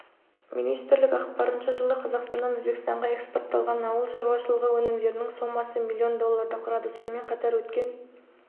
министрлік ақпарынша жылы қазақстаннан өзбекстанға экспортталған ауыл шаруашылығы өнімдерінің сомасы млн долларды құрады сонымен қатар өткен